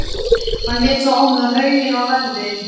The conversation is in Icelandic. Hann lét þá opna hauginn og lagði